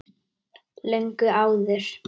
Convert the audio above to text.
Löngu áður.